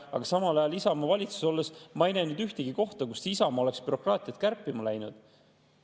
Aga Isamaa valitsuses olles ma ei näinud ühtegi kohta, kuhu Isamaa oleks bürokraatiat kärpima läinud.